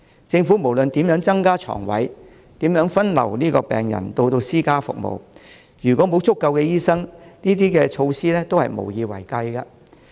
政府無論怎樣增加床位、怎樣分流病人到私家服務，如果沒有足夠的醫生，這些措施都是無以為繼。